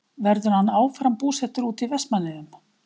Verður hann áfram búsettur úti í Vestmannaeyjum?